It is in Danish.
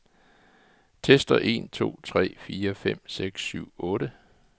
Tester en to tre fire fem seks syv otte.